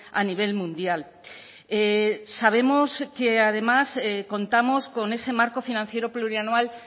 a nivel mundial sabemos que además contamos con ese marco financiero plurianual